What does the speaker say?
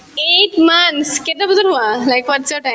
eight months কেইটা বজাত শুৱা whats your time